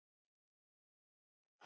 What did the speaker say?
Stutta svarið er já.